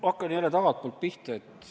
Hakkan jälle tagantpoolt pihta.